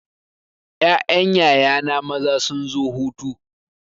Ƴaƴan yaya na maza sun zo hutu.